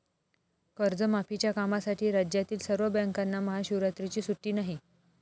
कर्जमाफीच्या कामासाठी राज्यातील सर्व बँकांना महाशिवरात्रीची सुट्टी नाही